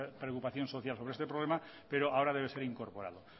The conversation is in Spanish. preocupación social por este problema pero ahora debe ser incorporado